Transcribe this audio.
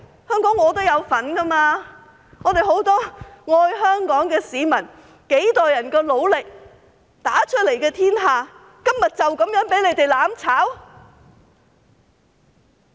香港我也有份，很多愛香港的市民經過幾代人的努力打出來的天下，今天就這樣被他們"攬炒"？